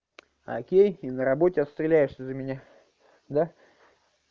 окей и на работе отстреляешься за меня да